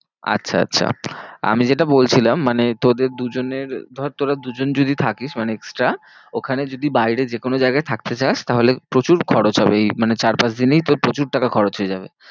আচ্ছা আচ্ছা আমি যেটা বলছিলাম মানে তোদের দু জনের ধর তোরা দু জন যদি থাকিস ওখানে extra ওখানে যদি বাইরে যে কোনো জায়গায় থাকতে চাস তাহলে প্রচুর খরচ হবে এই মানে এই চার পাঁচ দিনেই তোর প্রচুর টাকা খরচ হয়ে যাবে।